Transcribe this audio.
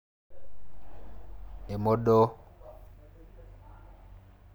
Emodoo.